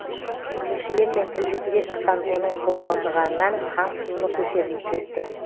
тілшілермен тілдесуге шыққан оның қобалжығаннан қан қысымы көтеріліп кетті